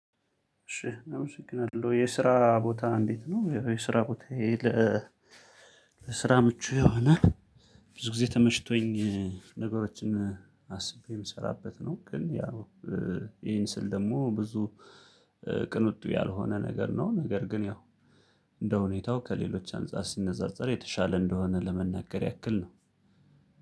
እሺ አመሰግናለሁ የስራ ቦታ እንዴት ነው? ያው የ ስራ ቦታዬ ለስራ ምቹ የሆነ ብዙ ጊዜ ተመሽቶኝ ነገሮችን አስቤ የምሰራበት ነው። ግን ያው ይሄን ስል ደግሞ ብዙ ቅንጡ ያልሆነ ነገር ነው። ነገር ግን ያው እንደሁኔታው ከሌሎች አንፃር ሲነጻጸር የተሻለ እንደሆነ ለመናገር ያክል ነው።